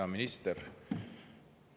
Hea minister!